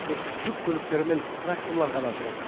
тек жүк көліктері мен тракторлар ғана жүреді